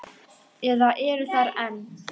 Eða eru þar enn.